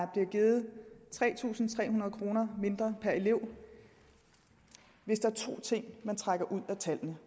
bliver givet tre tusind tre hundrede kroner mindre per elev hvis der er to ting man trækker ud af tallene